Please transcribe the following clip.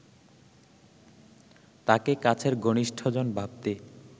তাঁকে কাছের ঘনিষ্ঠজন ভাবতে